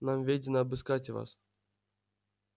нам ведено обыскать вас